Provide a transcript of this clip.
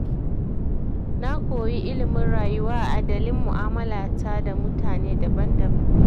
Na koyi ilimin rayuwa a dalin mu'amalata da mutane daban-daban.